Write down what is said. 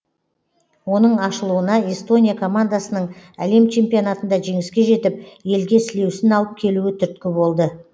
оның ашылуына эстония командасының әлем чемпионатында жеңіске жетіп елге сілеусін алып келуі түрткі болды